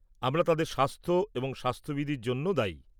আমরা তাদের স্বাস্থ এবং স্বাস্থবিধির জন্য দায়ী।